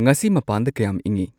ꯉꯁꯤ ꯃꯄꯥꯟꯗ ꯀꯌꯥꯝ ꯏꯪꯏ